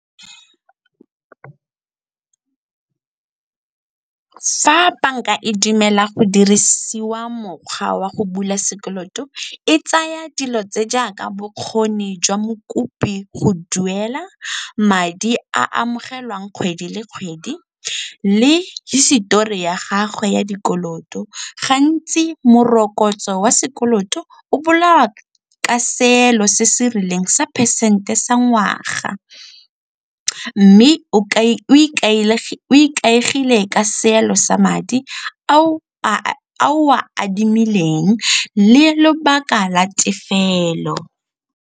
Fa banka e dumela go dirisiwa mokgwa wa go bula sekoloto e tsaya dilo tse jaaka bokgoni jwa mokopi go duela madi a amogelang kgwedi le kgwedi le hisetori ya gagwe ya dikoloto. Gantsi morokotso wa sekoloto o bolawa ka seelo se se rileng sa phesente sa ngwaga mme o ikaegile ka seelo sa madi ao o a adimileng le lobaka la tefelo.